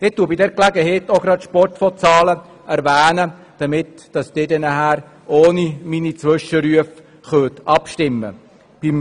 Bei dieser Gelegenheit erwähne ich auch die Zahlen des Sportfonds, sodass Sie ohne meine Zwischenrufe abstimmen können.